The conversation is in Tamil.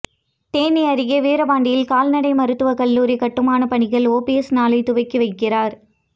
தேனி அருகே வீரபாண்டியில் கால்நடை மருத்துவ கல்லூரி கட்டுமான பணிகள் ஓபிஎஸ் நாளை துவக்கி வைக்கிறார்